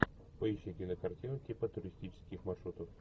поищи кинокартину типа туристических маршрутов